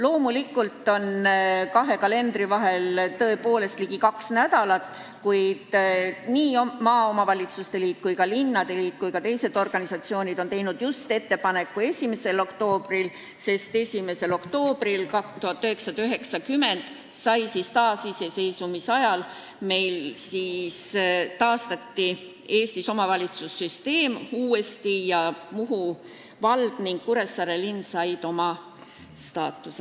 Loomulikult on kahe kalendri puhul tõepoolest tegu ligi kahe nädala pikkuse vahega, kuid maaomavalitsuste liit, linnade liit ja teisedki organisatsioonid on teinud ettepaneku tähistada seda päeva just 1. oktoobril, sest 1. oktoobril 1990, taasiseseisvumise ajal, taastati Eestis omavalitsussüsteem ning Muhu vald ja Kuressaare linn said omavalitsuse staatuse.